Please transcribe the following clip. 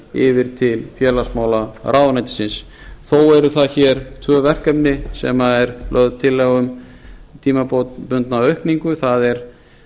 yfir til félagsmálaráðuneytisins þó eru það tvö verkefni sem er lögð tillaga um tímabundna aukningu það er